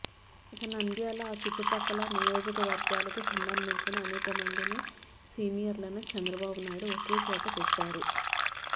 ఇక నంద్యాల ఆ చుట్టుపక్కల నియోజకవర్గాలకు సంబంధించిన అనేకమంది సీనియర్లను చంద్రబాబు నాయుడు ఒకచోట పెట్టారు